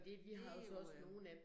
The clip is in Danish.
Det jo øh